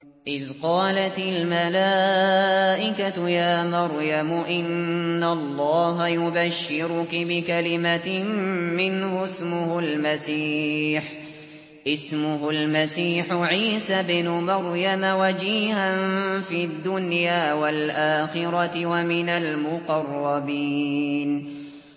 إِذْ قَالَتِ الْمَلَائِكَةُ يَا مَرْيَمُ إِنَّ اللَّهَ يُبَشِّرُكِ بِكَلِمَةٍ مِّنْهُ اسْمُهُ الْمَسِيحُ عِيسَى ابْنُ مَرْيَمَ وَجِيهًا فِي الدُّنْيَا وَالْآخِرَةِ وَمِنَ الْمُقَرَّبِينَ